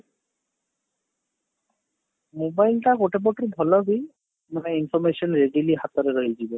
mobile ଟା ଗୋଟେ ପଟରୁ ଭଲ ବି ମାନେ information easily ହାତ ରେ ରହିଯିବା